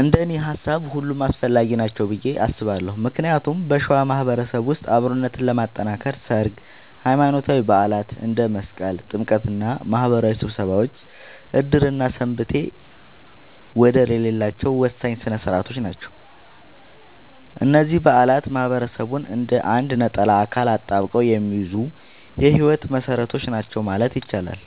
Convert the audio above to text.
እንደኔ ሃሳብ ሁሉም አስፈላጊ ናቸው ብዬ አስባለሁ ምክንያቱም በሸዋ ማህበረሰብ ውስጥ አብሮነትን ለማጥከር ሠርግ፣ ሃይማኖታዊ በዓላት እንደ መስቀልና ጥምቀት እና ማህበራዊ ስብሰባዎች ዕድርና ሰንበቴ ወደር የሌላቸው ወሳኝ ሥነ ሥርዓቶች ናቸው። እነዚህ በዓላት ማህበረሰቡን እንደ አንድ ነጠላ አካል አጣብቀው የሚይዙ የህይወት መሰረቶች ናቸው ማለት ይቻላል።